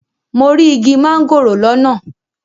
Mo rí igi mángòrò lọ́nà.